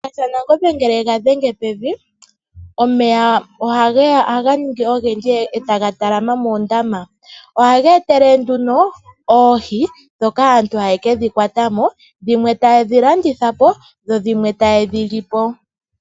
Shiyenga shaNangombe ngele ega dhenge pevi, omeya ohaga ningi ogendji etaga talama moondama ohaga etelele oohi ndhoka aantu hayedhi kwatamo dhimwe taya landitha dhimwe tayedhili po.